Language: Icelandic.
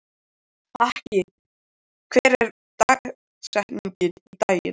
Haki, hver er dagsetningin í dag?